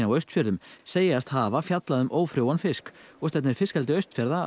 á Austfjörðum segjast hafa fjallað um ófrjóan fisk og stefnir fiskeldi Austfjarða